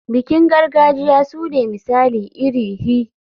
Bikin gargajiya sune misali iri hi.